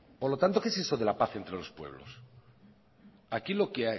por lo tanto qué es esto de la paz entre los pueblos aquí lo que